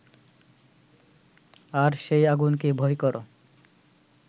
আর সেই আগুনকে ভয় কর